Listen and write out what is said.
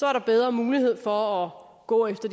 er der bedre mulighed for at gå efter